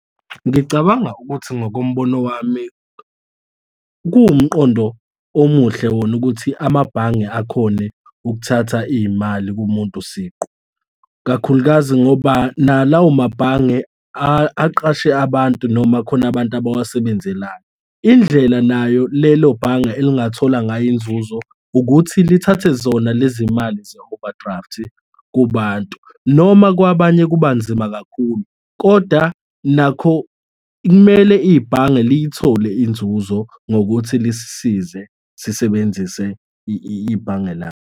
Ngicabanga ukuthi ngokombono wami kuwumqondo omuhle wona ukuthi amabhange akhone ukuthatha iy'mali kumuntu siqu, kakhulukazi ngoba nalawo amabhange aqashe abantu noma khona abantu abawasebenzelayo. Indlela nayo lelo bhange elingathola ngayo inzuzo ukuthi lithathe zona lezimali ze-overdraft kubantu, noma kwabanye kubanzima kakhulu koda nakho kumele ibhange liyithole inzuzo ngokuthi lisize sisebenzise ibhange .